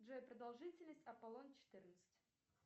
джой продолжительность аполлон четырнадцать